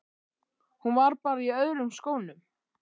Hún var bara í öðrum skónum.